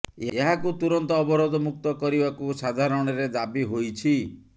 ଏହାକୁ ତୁରନ୍ତ ଅବରୋଧ ମୁକ୍ତ କରିବାକୁ ସାଧାରଣରେ ଦାବି ହୋଇଛି